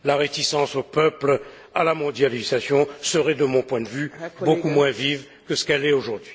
La réticence des peuples à la mondialisation serait de mon point de vue beaucoup moins vive que ce qu'elle est aujourd'hui.